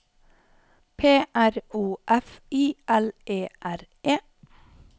P R O F I L E R E